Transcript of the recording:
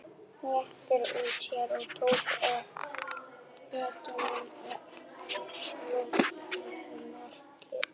Réttir úr sér og tekur ofan fötuna í kolsvartamyrkri.